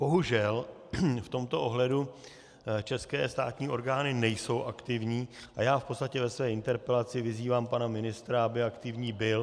Bohužel v tomto ohledu české státní orgány nejsou aktivní a já v podstatě ve své interpelaci vyzývám pana ministra, aby aktivní byl.